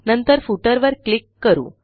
नंतर Footerवर क्लिक करू